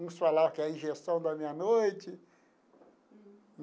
Uns falava que é a injeção da meia-noite.